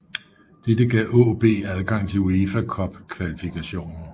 Dette gav AaB adgang til UEFA Cup kvalifikationen